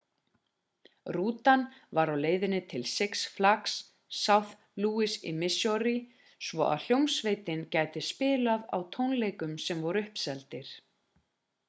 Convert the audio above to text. rútan var á leiðinni til six flags st louis í missouri svo að hljómsveitin gæti spilað á tónleikum sem voru uppseldir